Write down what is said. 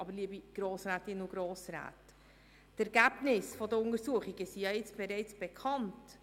Aber liebe Grossrätinnen und Grossräte, die Untersuchungsergebnisse sind jetzt bereits bekannt.